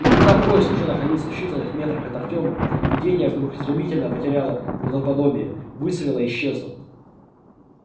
и когда поезд уже находился в считаных метрах от артема видение вдруг стремительно потеряло правдоподобие выцвело и исчезло